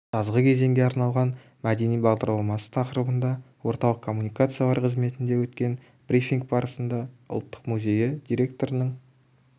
жазғы кезеңге арналған мәдени бағдарламасы тақырыбында орталық коммуникациялар қызметінде өткен брифинг барысында ұлттық музейі директорының